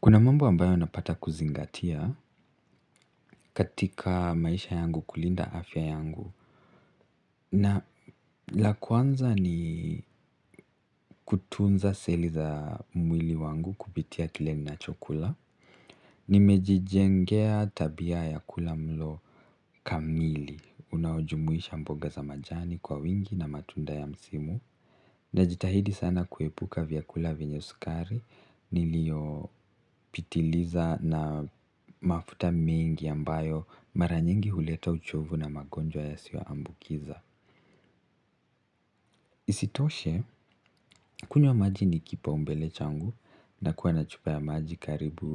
Kuna mambo ambayo napata kuzingatia katika maisha yangu kulinda afya yangu na la kwanza ni kutunza seli za mwili wangu kupitia kile ninachokula nimejijengea tabia ya kula mlo kamili unaojumuisha mbogo za majani kwa wingi na matunda ya msimu najitahidi sana kuepuka vyakula vyenye sukari niliopitiliza na mafuta mengi ambayo mara nyingi huleta uchovu na magonjwa yasio ambukiza. Isitoshe kunywa maji ni kipaumbele changu nakuwa na chupa ya maji karibu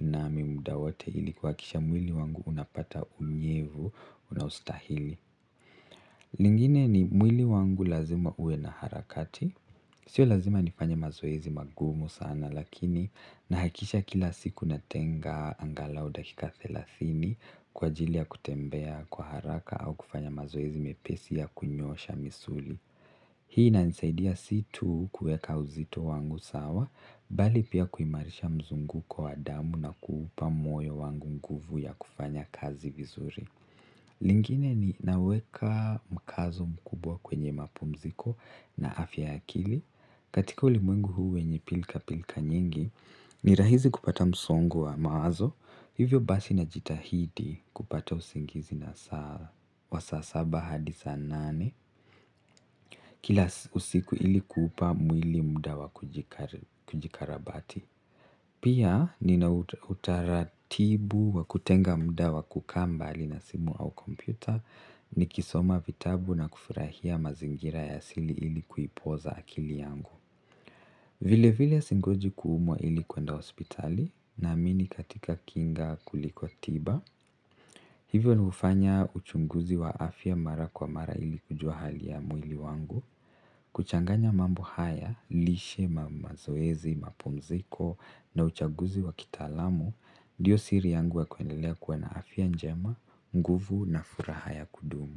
nami muda wote ili kuhakisha mwili wangu unapata unyevu unaostahili lingine ni mwili wangu lazima ue na harakati. Sio lazima nifanya mazoezi magumu sana lakini nahakisha kila siku natenga angalau dakika thelathini kwa ajili ya kutembea kwa haraka au kufanya mazoezi mepesi ya kunyoosha misuli. Hii inanisaidia si tu kuweka uzito wangu sawa bali pia kuimarisha mzunguko wa damu na kuupa moyo wangu nguvu ya kufanya kazi vizuri. Lingine ni naweka mkazo mkubwa kwenye mapumziko na afya ya akili. Katika ulimwengu huu wenye pilka pilka nyingi, ni rahisi kupata msongo wa mawazo. Hivyo basi najitahidi kupata usingizi nasaa wa saa saba hadisl saa nane. Kila usiku ilikuupa mwili muda wa kujikarabati. Pia nina utaratibu wa kutenga muda wa kukaa mbali na simu au kompyuta nikisoma vitabu na kufurahia mazingira ya asili ili kuipoza akili yangu. Vile vile singoji kuumwa ili kuenda hospitali naamini katika kinga kuliko tiba. Hivyo ni hufanya uchunguzi wa afya mara kwa mara ili kujua hali ya mwili wangu, kuchanganya mambo haya, lishe mazoezi, mapumziko na uchaguzi wa kitaalamu, ndiyo siri yangu ya kuendelea kuwa na afya njema, nguvu na furaha ya kudumu.